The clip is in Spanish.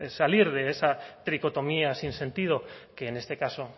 salir de esa tricotomía sin sentido que en este caso